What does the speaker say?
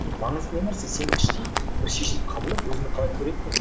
маңызды не нәрсе сен бір іштей бір шешім қабылдап өзінің қалай көретіндігің